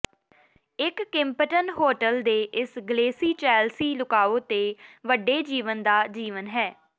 ਇਕ Kimpton hotel ਦੇ ਇਸ ਗਲੇਸ਼ੀ ਚੈਲਸੀ ਲੁਕਾਓ ਤੇ ਵੱਡੇ ਜੀਵਨ ਦਾ ਜੀਵਣ ਹੈ